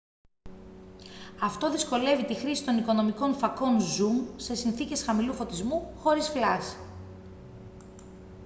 αυτό δυσκολεύει τη χρήση των οικονομικών φακών ζουμ σε συνθήκες χαμηλού φωτισμού χωρίς φλας